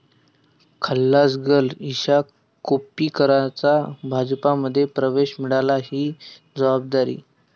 खल्लास girl' Isha कोप्पीकरचा भाजपमध्ये प्रवेश, मिळाली 'ही' जबाबदारी